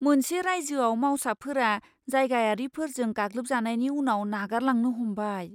मोनसे रायइजोआव मावसाफोरा जायगायारिफोरजों गाग्लोबजानायनि उनाव नागारलांनो हमबाय।